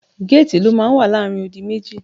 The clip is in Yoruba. Géètì ló máa ń wà láàrin odi méjì.